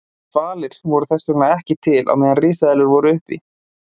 Hvalirnir voru þess vegna ekki til á meðan risaeðlur voru uppi.